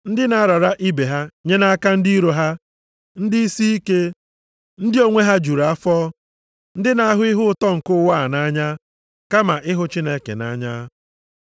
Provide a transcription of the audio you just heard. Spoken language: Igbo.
Ndị na-arara ibe ha nye nʼaka ndị iro ha, ndị isiike, ndị onwe ha juru afọ; ndị na-ahụ ihe ụtọ nke ụwa a nʼanya, kama ịhụ Chineke nʼanya.